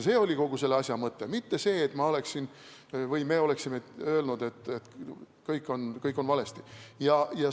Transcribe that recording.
See oli kogu selle asja mõte, mitte see, nagu me oleksime öelnud, et kõik on valesti.